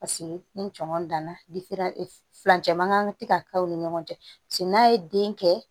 Paseke ni cɔ danna furancɛ mankan ka ti ka k'aw ni ɲɔgɔn cɛ paseke n'a ye den kɛ